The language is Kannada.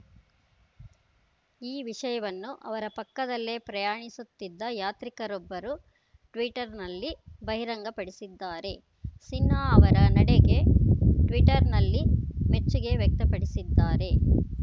ಈ ವಿಷಯವನ್ನು ಅವರ ಪಕ್ಕದಲ್ಲೇ ಪ್ರಯಾಣಿಸುತ್ತಿದ್ದ ಯಾತ್ರಿಕರೊಬ್ಬರು ಟ್ವೀಟರ್‌ನಲ್ಲಿ ಬಹಿರಂಗಪಡಿಸಿದ್ದಾರೆ ಸಿನ್ಹಾ ಅವರ ನಡೆಗೆ ಟ್ವೀಟರ್‌ನಲ್ಲಿ ಮೆಚ್ಚುಗೆ ವ್ಯಕ್ತಪಡಿಸಿದ್ದಾರೆ